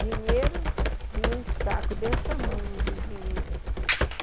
Dinheiro, vinha um saco desse tamanho de dinheiro.